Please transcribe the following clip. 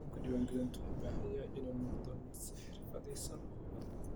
Nidaamka diiwaangelintu wuxuu u baahan yahay inuu noqdo mid si xirfadaysan u hufan.